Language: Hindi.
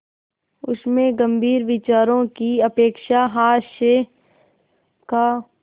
उसमें गंभीर विचारों की अपेक्षा हास्य का